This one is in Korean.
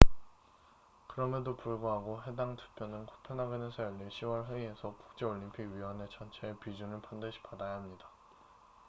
그럼에도 불구하고 해당 투표는 코펜하겐에서 열릴 10월 회의에서 국제올림픽위원회ioc 전체의 비준을 반드시 받아야 합니다